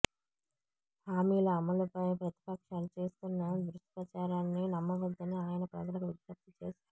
హామీల అమలుపై ప్రతిపక్షాలు చేస్తున్న దుష్ప్రచారాన్ని నమ్మవద్దని ఆయన ప్రజలకు విజ్ఞప్తి చేసారు